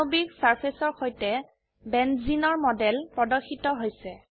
আণবিক সাৰফেসৰ সৈতে বেঞ্জিনৰ মডেল প্ৰদৰ্শিত হৈছে